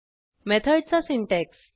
मेथडचा सिंटॅक्स